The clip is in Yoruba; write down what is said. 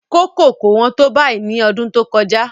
Kókò kò hán tó báyìí ní ọdún tó kọjá.